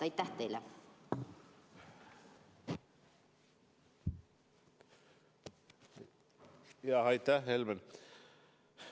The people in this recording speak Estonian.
Aitäh, Helmen!